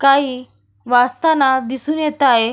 काही वाचताना दिसून येत आहे.